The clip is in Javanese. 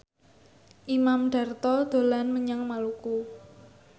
Imam Darto dolan menyang Maluku